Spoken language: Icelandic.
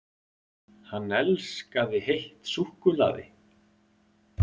HANN ELSKAÐI HEITT SÚKKULAÐI!